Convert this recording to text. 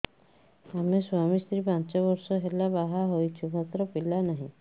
ଆମେ ସ୍ୱାମୀ ସ୍ତ୍ରୀ ପାଞ୍ଚ ବର୍ଷ ହେଲା ବାହା ହେଇଛୁ ମାତ୍ର ପିଲା ନାହିଁ